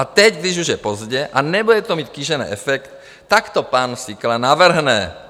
A teď, když už je pozdě a nebude to mít kýžený efekt, tak to pan Síkela navrhne.